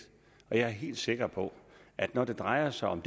og jeg er helt sikker på at når det drejer sig om